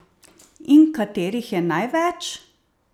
In katerih je največ?